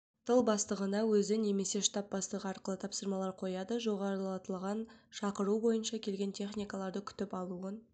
тыл бастығына өзі немесе штаб бастығы арқылы тапсырмалар қояды жоғарылатылған шақыру бойынша келген техникаларды күтіп алуын